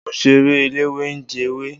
Mọ ń ṣeré eléwé ń jẹ ewé.